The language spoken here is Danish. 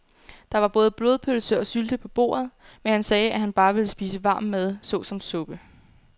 Der var både blodpølse og sylte på bordet, men han sagde, at han bare ville spise varm mad såsom suppe.